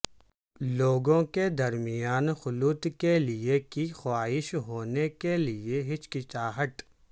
لوگوں کے درمیان خلوت کے لئے کی خواہش ہونے کے لئے ہچکچاہٹ